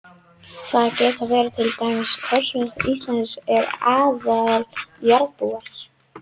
Það geta verið til dæmis Kjósverjar, Íslendingar eða allir jarðarbúar.